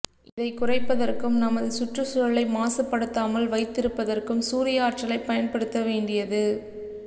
இதை குறைப்பதற்கும் நமது சுற்றுச்சூழலை மாசுபடுத்தாமல் வைத்திருப்பதற்கும் சூரிய ஆற்றலை பயன்படுத்த வேண்டியது